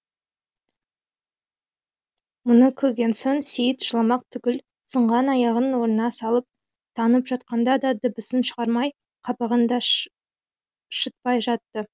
мұны көрген соң сейіт жыламақ түгіл сынған аяғын орнына салып таңып жатқанда да дыбысын шығармай қабағын да шытпай жатты